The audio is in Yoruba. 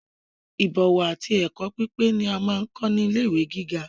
Ibọ̀wọ̀ àti ẹkọ pípé ni a n kọ ni ilé ìwé gíga.